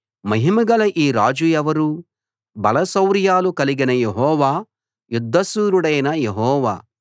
మహిమగల ఈ రాజు ఎవరు బలశౌర్యాలు కలిగిన యెహోవా యుద్ధశూరుడైన యెహోవా